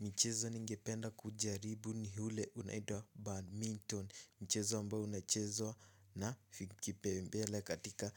Mchezo ningependa kujaribu ni ule unaitwa badminton. Mchezo ambao unachezwa na kipembele katika